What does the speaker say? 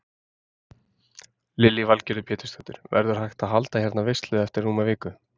Lillý Valgerður Pétursdóttir: Verður hægt að halda hérna veislu eftir rúma viku?